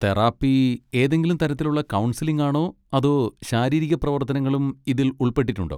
Therapy ഏതെങ്കിലും തരത്തിലുള്ള കൗൺസിലിങ്ങാണോ അതോ ശാരീരിക പ്രവർത്തനങ്ങളും ഇതിൽ ഉൾപ്പെട്ടിട്ടുണ്ടോ?